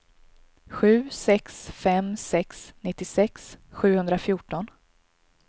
sju sex fem sex nittiosex sjuhundrafjorton